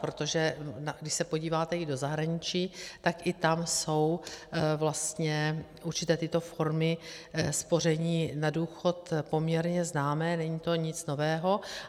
Protože když se podíváte i do zahraničí, tak i tam jsou vlastně určité tyto formy spoření na důchod poměrně známé, není to nic nového.